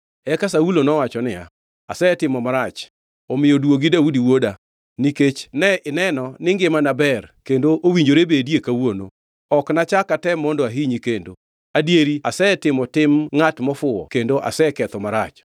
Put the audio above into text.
Eka Saulo nowacho niya, “Asetimo marach, omiyo duogi, Daudi wuoda. Nikech ne ineno ni ngimana ber kendo owinjore bedie kawuono. Ok nachak atem mondo ahinyi kendo. Adieri asetimo tim ngʼat mofuwo kendo aseketho marach.”